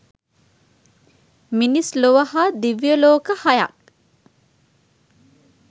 මිනිස් ලොව හා දිව්‍ය ලෝක හයත්